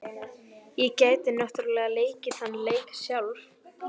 Ég gæti náttúrlega leikið þann leik sjálf.